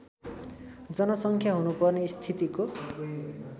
जनसङ्ख्या हुनुपर्ने स्थितिको